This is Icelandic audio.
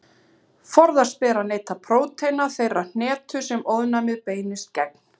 Forðast ber að neyta prótína þeirrar hnetu sem ofnæmið beinist gegn.